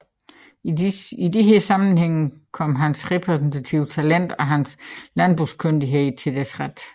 I disse sammenhænge kom hans repræsentative talent og hans landbrugskyndighed til deres ret